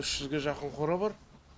үш жүзге жақын қора бар